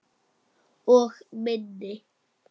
Og minni.